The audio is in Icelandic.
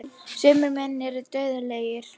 Sumir menn eru dauðlegir.